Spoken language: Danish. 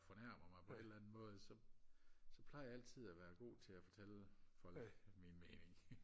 fornærmer mig på en eller anden måde så så plejer jeg altid og være god til at fortælle folk min mening